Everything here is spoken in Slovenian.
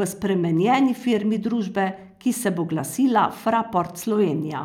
v spremenjeni firmi družbe, ki se bo glasila Fraport Slovenija.